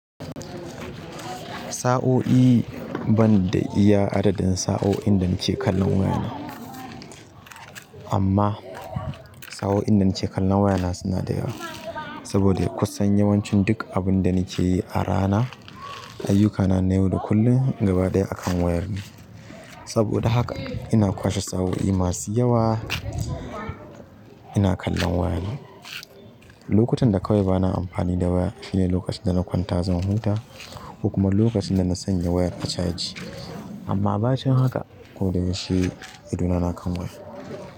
Sa'o'i banda iya adadin sa'o'in da nake kallon wayana amma sa'o'i inda nike kallon wayana suna da yawa saboda kusan yawancin duk abun da nake yi a rana, ayyukana na yau da kullum gaba ɗaya akan wayar ne. Saboda haka ina kwashe sa'o'i masu yawa ina kallon wayana. Lokutan da kawai bana amfani da waya shine lokacin da na kwanta zan huta ko kuma lokacin da na sanya wayar a caji. Amma ba cin haka ko da yaushe ido na na kan waya.